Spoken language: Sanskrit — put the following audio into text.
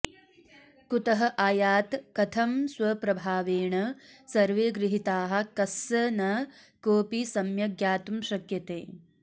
कुतः आयात् कथं स्वप्रभावेण सर्वे गृहीताः कस्स न कोऽपि सम्यग् ज्ञातुं शक्यते